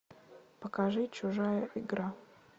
покажи чужая игра